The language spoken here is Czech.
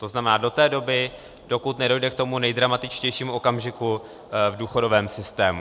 To znamená do té doby, dokud nedojde k tomu nejdramatičtějšímu okamžiku v důchodovém systému.